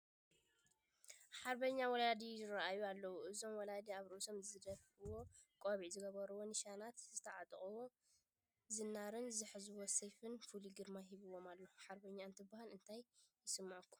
ሓርበኛ ወላዲ ይርአዩ ኣለዉ፡፡ እዞም ወላዲ ኣብ ርእሶም ዝደፍእዎ ቆቢዕ፣ ዝገበርዎ ኒሻናት፣ ዝተዓጠቕዎ ዝናርን ዝሓዝዎ ሰይፍን ፍሉይ ግርማ ሂብዎም ኣሎ፡፡ ሃርበኛ እንትበሃል እንታይ ይስምዐኹም?